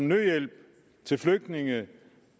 nødhjælp til flygtninge